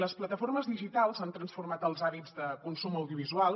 les plataformes digitals han transfor·mat els hàbits de consum audiovisual